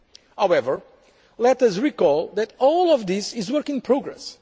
ahead. However, let us recall that all of this is work in